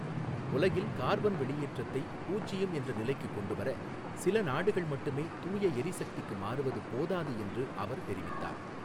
உலகில் கார்பன் வெளியேற்றத்தை பூஜ்யம் என்ற நிலைக்குக் கொண்டுவர, சில நாடுகள் மட்டுமே தூயஎரிசக்திக்கு மாறுவது போதாது என்று அவர் தெரிவித்தார்.